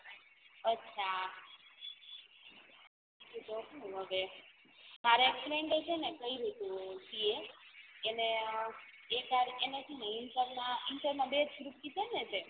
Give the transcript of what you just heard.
અછા તો સુ હવે છે ને કઈરું તું CA inter inter માં બે group કિધાને તે